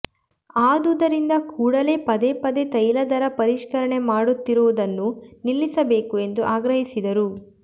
ಆದುದರಿಂದ ಕೂಡಲೇ ಪದೇ ಪದೇ ತೈಲ ದರ ಪರಿಷ್ಕರಣೆ ಮಾಡುತ್ತಿರುವುದನ್ನುನಿಲ್ಲಿಸಬೇಕು ಎಂದು ಆಗ್ರಹಿಸಿದರು